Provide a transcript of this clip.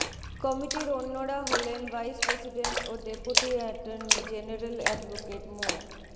কমিটির অন্যরা হলেন ভাইস প্রেসিডেন্ট ও ডেপুটি অ্যাটর্নি জেনারেল অ্যাডভোকেট মো